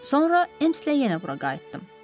Sonra Emslə yenə bura qayıtdım.